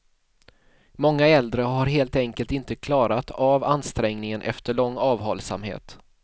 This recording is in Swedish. Många äldre har helt enkelt inte klarat av ansträngningen efter lång avhållsamhet.